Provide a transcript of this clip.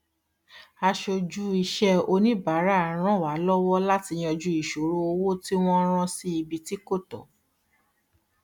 aṣojú iṣẹ oníbàárà ràn wá lọwọ láti yanju ìṣòro owó tí wọn rán sí ibi tí kò tọ